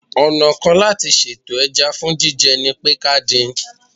Ọ̀nà kan láti sètò ẹja fún jíjẹ ni pé ká dín in